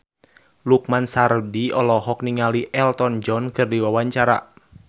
Lukman Sardi olohok ningali Elton John keur diwawancara